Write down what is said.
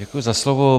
Děkuji za slovo.